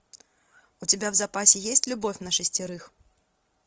у тебя в запасе есть любовь на шестерых